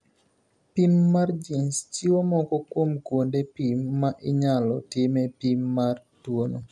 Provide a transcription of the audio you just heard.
Pim mar gins chiwo moko kuom kuonde pim ma inyalo time pim mar tuono.